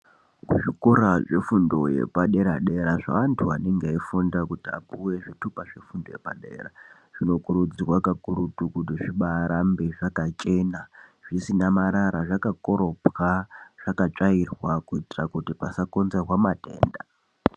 Kuzvikora zvefundo yepadera dera zvevandu vanenge veifunda kuti vapuwe zvitupa zvefundo yepadera zvinokurudzirwa kakurutu kuti zvibarambe zvakachena zvisina marara , zvakakorobwa zvakatsvairwa kuitira kuti pasakonzerwa matenda.